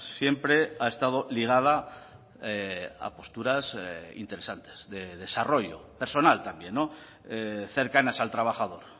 siempre ha estado ligada a posturas interesantes de desarrollo personal también cercanas al trabajador